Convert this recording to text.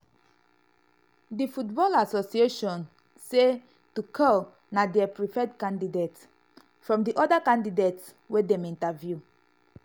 di football association association say tuchel na dia "preferred candidate" from di "oda candidates" wey dem interview.